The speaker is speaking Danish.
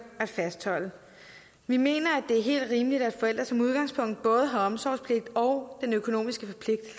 at fastholde vi mener at det er helt rimeligt at forældre som udgangspunkt både har omsorgspligt og den økonomiske